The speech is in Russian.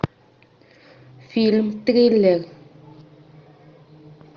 фильм триллер